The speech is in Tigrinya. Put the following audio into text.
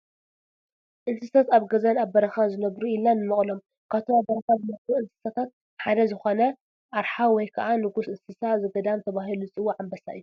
እንስሳታት ኣብ ገዛን ኣብ በረኻን ዝነብሩ ኢልና ንመቕሎም፡፡ ካብቶም ኣብ በረኻ ዝነብሩ እንስሳታት ሓደ ዝኾነ ኣርሓ ወይ ከዓ ንጉስ እንስሳ ዘገዳም ተባሂሉ ዝፅዋዕ ኣንበሳ እዩ፡፡